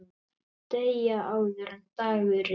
Deyja, áður en dagur rynni.